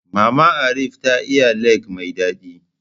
Maman Arif ta iya lek mai daɗi